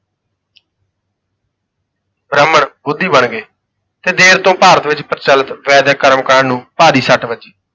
ਬ੍ਰਾਹਮਣ ਬੋਧੀ ਬਣ ਗਏ ਤੇ ਦੇਰ ਤੋਂ ਭਾਰਤ ਵਿਚ ਪ੍ਰਚਲਤ ਵੈਦਿਕ ਕਰਮਕਾਂਡ ਨੂੰ ਭਾਰੀ ਸੱਟ ਵੱਜੀ।